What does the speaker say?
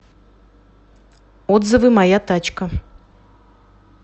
отзывы моя тачка